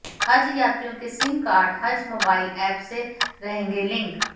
हज यात्रियों के सिम कार्ड हज मोबाइल एप से रहेंगे लिंक